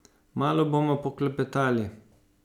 Malo bomo poklepetali.